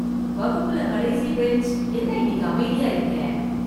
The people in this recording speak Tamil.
வகுப்புல கடைசி பெஞ்ச் என்ன இன்னிக்கு அமைதியாயிருக்கே...